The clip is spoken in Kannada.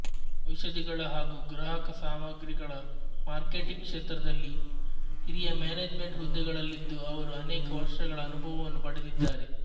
ಔಷಧಿಗಳ ಹಾಗೂ ಗ್ರಾಹಕ ಸಾಮಗ್ರಿಗಳ ಮಾರ್ಕೆಟಿಂಗ್ ಕ್ಷೇತ್ರದಲ್ಲಿ ಹಿರಿಯ ಮ್ಯಾನೇಜ್ಮೆಂಟ್ ಹುದ್ದೆಗಳಲ್ಲಿದ್ದು ಅವರು ಅನೇಕ ವರ್ಷಗಳ ಅನುಭವವವನ್ನು ಪಡೆದಿದ್ದಾರೆ